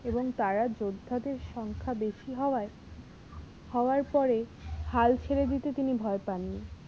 এবং তারা যোদ্ধাদের সংখ্যা বেশি হওয়ায় হওয়ার পরে হাল ছেড়ে দিতে তিনি ভয় পাননি।